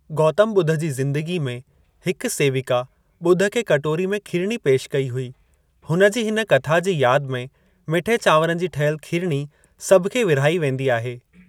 गौतम ॿुध जी ज़‍िंदगी में हिकु सेविका बुद्ध खे कटोरी में खीरणी पेश कई हुई, हुनजी हिन कथा जी याद में मिठे चांवरनि जी ठहियल खीरणी सभखे विर्हाई वेंदी आए।